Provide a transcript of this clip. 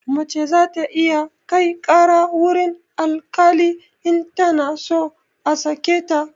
Mace za ta iya kai ƙara wurin alkali in tana so a sake ta